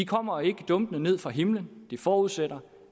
kommer ikke dumpende ned fra himlen de forudsætter